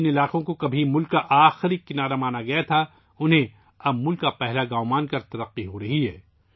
جن علاقوں کو کبھی ملک کا آخری حصہ سمجھا جاتا تھا ، اب انہیں ملک کا پہلا گاؤں سمجھ کر ترقی دی جا رہی ہے